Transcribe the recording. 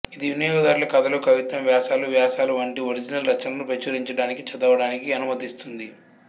ఇది వినియోగదారులు కథలు కవిత్వం వ్యాసాలు వ్యాసాలు వంటి ఒరిజినల్ రచనలను ప్రచురించడానికి చదవడానికి అనుమతిస్తుంది